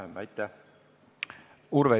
Urve Tiidus, palun!